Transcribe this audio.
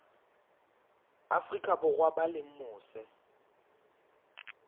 afrika borwa ba leng mose